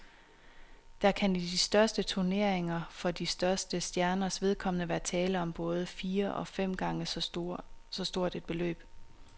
Der kan i de største turneringer for de største stjerners vedkommende være tale om både fire og fem gange så stort et beløb.